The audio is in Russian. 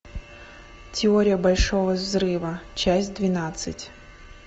теория большого взрыва часть двенадцать